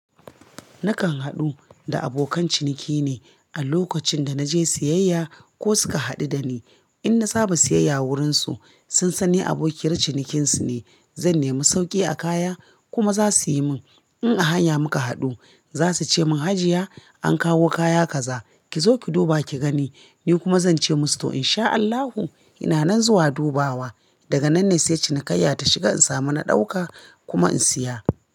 Nakan haɗu da abokan ciniki ne a lokacin da naje siyayya ko suka haɗu da ni. In na samu siyayya wurinsu, sun san ni abokiyar cinikinsu ne. Zan nemi sauƙi a kaya kuma za su yi min. In a hanya muka haɗu, za su ce mun "Hajiya an kawo kaya kaza, ki zo ki duba ki gani." Ni kuma zan ce musu "to in sha Allahu ina nan zuwa dubawa." Daga nan ne sai cinikayya ta shiga in samu na ɗauka kuma in siya.